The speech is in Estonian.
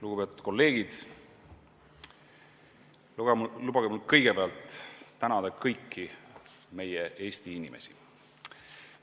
Lugupeetud kolleegid, lubage mul kõigepealt tänada kõiki meie Eesti inimesi.